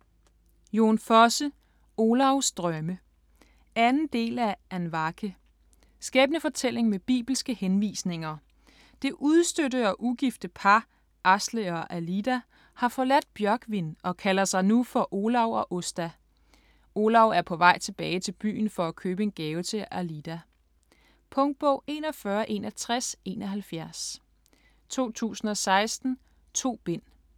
Fosse, Jon: Olavs drømme 2. del af Andvake. Skæbnefortælling med bibelske henvisninger. Det udstødte og ugifte par, Asle og Alida, har forladt Bjørgvin og kalder sig nu for Olav og Åsta. Olav er på vej tilbage til byen for at købe en gave til Alida. Punktbog 416171 2016. 2 bind.